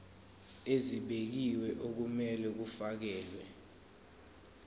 ezibekiwe okumele kufakelwe